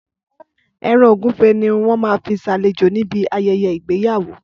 Ẹran Ògúnfe ni wọ́n máa fi ṣàlejò ní bí ayẹyẹ ìgbéyàwó.